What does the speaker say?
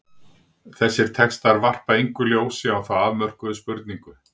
Þessir textar varpa engu ljósi á þá afmörkuðu spurningu.